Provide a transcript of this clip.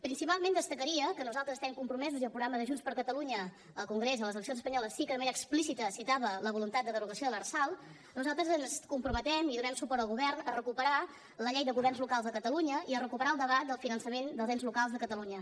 principalment destacaria que nosaltres estem compromesos i el programa de junts per catalunya al congrés a les eleccions espanyoles sí que de manera explicita citava la voluntat de derogació de l’lrsal nosaltres ens comprometem i donem suport al govern per recuperar la llei de governs locals de catalunya i per recuperar el debat del finançament dels ens locals de catalunya